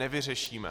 Nevyřešíme.